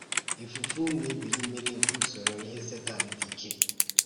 Ìfùfù na èbílí mmiri nke usoro ihe Sétan dị ike.